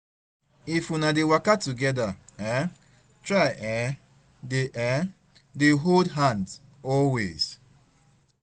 if una dey waka togeda, um try um dey um dey hold her hand always